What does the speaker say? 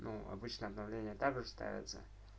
ну обычно обновления также ставятся